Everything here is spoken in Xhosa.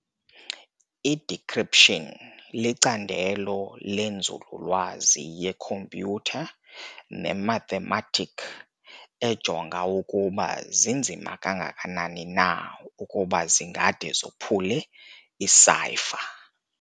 I-Decryption licandelo lenzululwazi yekhompyutha ne-mathematik ejonga ukuba zinzima kangakanani na ukuba zingade zophule i-cypher.